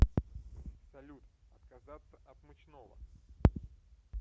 салют отказаться от мучного